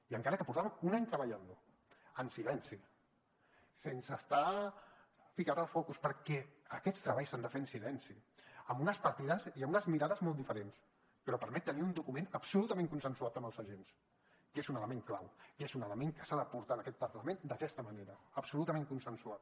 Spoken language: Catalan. i encara que portàvem un any treballant lo en silenci sense estar ficat al focus perquè aquests treballs s’han de fer en silenci amb unes partides i amb unes mirades molt diferents però permet tenir un document absolutament consensuat amb els agents que és un element clau que és un element que s’ha de portar en aquest parlament d’aquesta manera absolutament consensuat